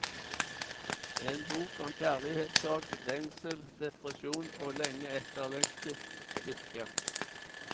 En bok om kjærlighetssorg, lengsel, depresjon og lenge etterlengtet lykke.